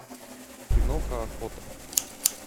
киноха охота